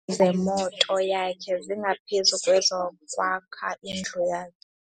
Zemoto yakhe zingaphezu kwezokwakha indlu yakhe.